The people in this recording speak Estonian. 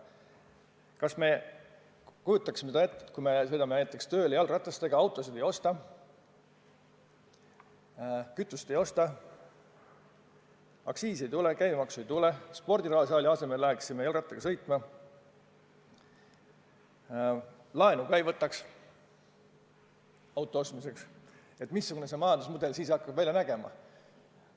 Kas me kujutame seda ette, et kui me sõidame näiteks tööle jalgratastega, autosid ei osta, kütust ei osta, aktsiisi ei tule, käibemaksu ei tule, ka spordisaali asemel läheksime jalgrattaga sõitma, laenu ka ei võtaks auto ostmiseks – missugune see majandusmudel siis hakkab välja nägema?